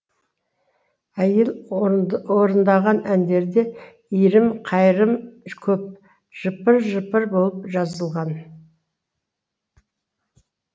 әйел орындаған әндерде иірім қайырым көп жыпыр жыпыр болып жазылған